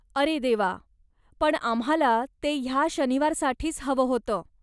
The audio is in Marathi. अरे देवा, पण आम्हाला ते ह्या शनिवारसाठीच हवं होतं.